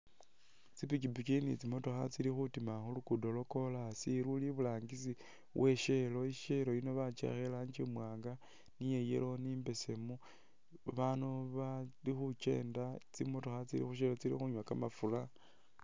Tsi pikipiki ni tsimotokha tsili khutima khu lugudo lwa corasi luli iburangisi we shall,I shell yino bakiwakha i rangi i mwanga ni ya yellow ni imbesemu ba bandu bali khukyenda tsimotokha tsili khu shell tsili khunywa kamafura.